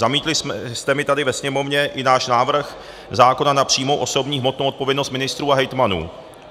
Zamítli jste mi tady ve Sněmovně i náš návrh zákona na přímou osobní hmotnou odpovědnost ministrů a hejtmanů.